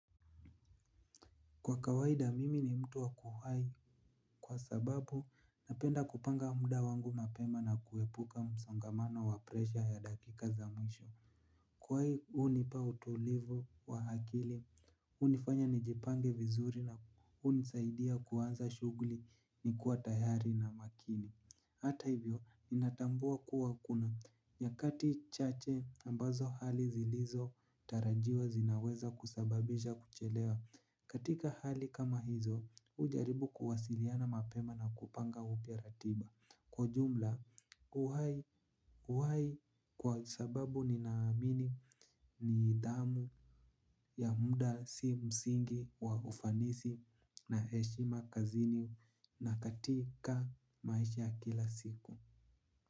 Kwa kawaida mimi ni mtu wa kuhai kwa sababu napenda kupanga muda wangu mapema na kuepuka msongamano wa presha ya dakika za mwisho. Kuhai unipa utulivu wa akili, unifanya nijipange vizuri na hunisaidia kuanza shugli ni kuwa tayari na makini. Hata ivyo ninatambua kuwa kuna nyakati chache ambazo hali zilizo tarajiwa zinaweza kusababisha kuchelewa. Katika hali kama hizo ujaribu kuwasiliana mapema na kupanga upya ratiba. Kwa ujumla uwai kwa sababu ninaamini ni idhamu ya muda si msingi wa ufanisi na heshima kazini na katika maisha ya kila siku.